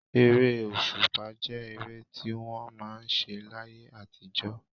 Ere òṣùpá jẹ́ ere tí wọ́n máa ń ṣe láyé àtijọ́.